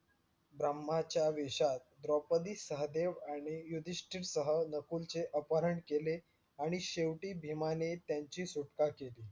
ब्रम्हाच्या विषात द्रौपदी, सहदेव आणि युधिष्टरसह नकुलचे अपहरण केले आणि शेवटी भीमाने त्यांची सुटका केली.